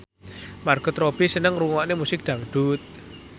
Margot Robbie seneng ngrungokne musik dangdut